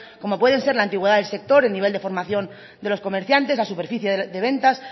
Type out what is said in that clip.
como pueden ser la antigüedad del sector el nivel de formación de los comerciantes la superficie de ventas